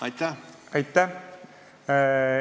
Aitäh!